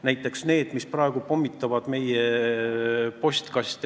Näiteks need, kes praegu meie postkaste pommitavad.